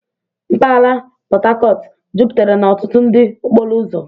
Mpaghara Port Harcourt jupụtara na ọtụtụ nri okporo ụzọ.